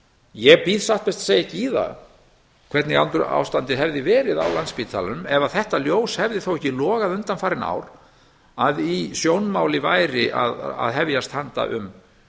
ég býð satt best að segja í það hvernig ástandið hefði verið á landspítalanum ef að þetta ljós hefði þó ekki logað undanfarin ár að í sjónmáli væri að hefjast handa um